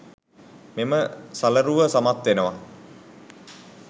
මෙම සලරුව සමත්වෙනවා